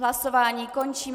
Hlasování končím.